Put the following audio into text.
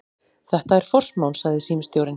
Þetta er forsmán, sagði símstjórinn.